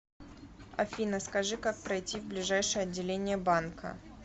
афина скажи как пройти в ближайшее отделение банка